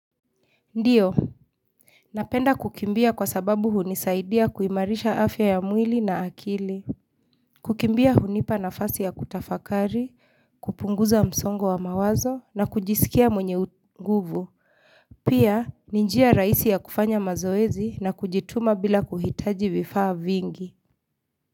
Ndiyo. Napenda kukimbia kwa sababu hunisaidia kuimarisha afya ya mwili na akili. Kukimbia hunipa na fasi ya kutafakari, kupunguza msongo wa mawazo na kujisikia mwenye nguvu. Pia ninjia raisi ya kufanya mazoezi na kujituma bila kuhitaji vifaa vingi.